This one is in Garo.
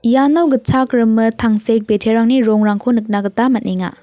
iano gitchak rimit tangsek biterangni rongrangko nikna gita man·enga.